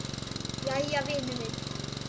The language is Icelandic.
Jæja, vinur minn.